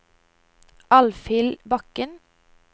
Alfhild Bakken